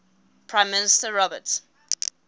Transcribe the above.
prime minister robert